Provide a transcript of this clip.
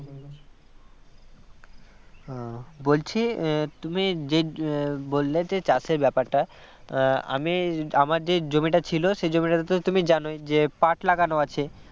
আহ বলছি তুমি যে বললে যে চাষের ব্যাপারটা আমি আমার যে জমিটা ছিল সেই জমিটা তো তুমি জানোই যে পাট লাগানো আছে